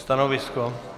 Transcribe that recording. Stanovisko?